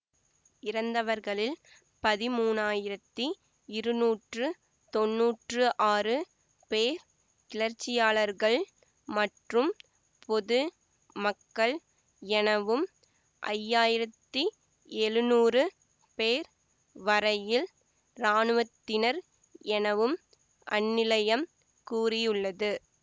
இறந்தவர்களில் பதிமூனாயிரத்தி இருநூற்று தொன்னூற்று ஆறு பேர் கிளர்ச்சியாளர்கள் மற்றும் பொது மக்கள் எனவும் ஐயாயிரத்தி எழுநூறு பேர் வரையில் இராணுவத்தினர் எனவும் அந்நிலையம் கூறியுள்ளது